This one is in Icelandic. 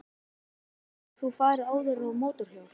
Hrund: Hefur þú farið áður á mótorhjól?